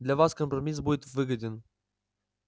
для вас компромисс будет выгоден